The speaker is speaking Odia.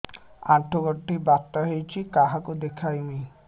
ଆଣ୍ଠୁ ଗଣ୍ଠି ବାତ ହେଇଚି କାହାକୁ ଦେଖାମି